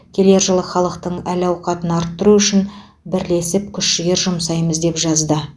келер жылы халықтың әл ауқатын арттыру үшін бірлесіп күш жігер жұмсаймыз деп жазды